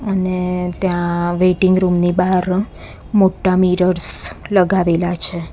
અને ત્યાં waiting room ની બાહર મોટ્ટા મિરર્સ લગાવેલા છે.